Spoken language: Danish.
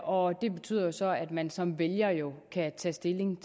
og det betyder jo så at man som vælger kan tage stilling